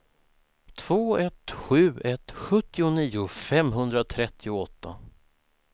två ett sju ett sjuttionio femhundratrettioåtta